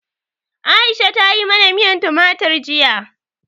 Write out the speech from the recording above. Aisha ta yi mana miyan tumatir jiya.